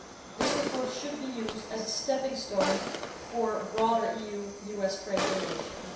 This report should be used as a stepping stone for broader EU US trade relations.